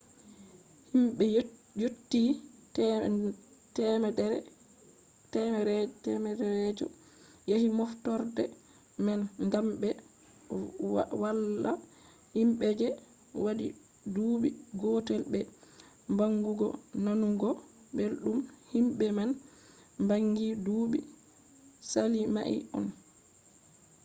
himbe yotti 100 je yahi moftorde man gam be valla himbe je wadi duubi gotel be bangugo nanugo beldum himbe man bangi duubi sali mai on